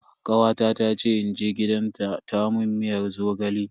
Kawata ta ce in je gidanta ta mun miyar zogale.